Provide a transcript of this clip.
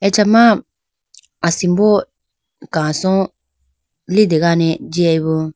Achama asimbo kaso litegane jiyayibo.